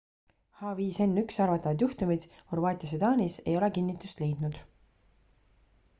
h5n1 arvatavad juhtumid horvaatias ja taanis ei ole kinnitust leidnud